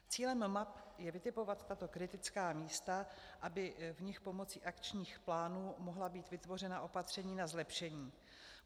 Cílem map je vytipovat tato kritická místa, aby v nich pomocí akčních plánů mohla být vytvořena opatření na zlepšení.